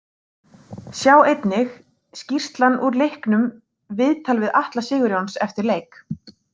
Sjá einnig: Skýrslan úr leiknum Viðtal við Atla Sigurjóns eftir leik